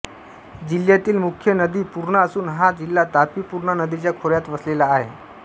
जिल्ह्यातील मुख्य नदी पूर्णा असून हा जिल्हा तापी पूर्णा नदीच्या खोऱ्यात वसलेला आहे